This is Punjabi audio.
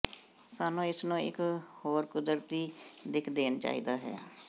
ਸਾਨੂੰ ਇਸ ਨੂੰ ਇੱਕ ਹੋਰ ਕੁਦਰਤੀ ਦਿੱਖ ਦੇਣ ਚਾਹੀਦਾ ਹੈ